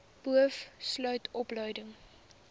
boov sluit opleiding